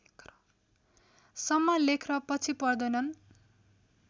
सम्म लेख्न पछि पर्दैनन्